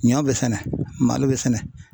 Ɲɔ bɛ sɛnɛ malo bɛ sɛnɛ.